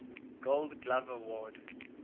gold glove award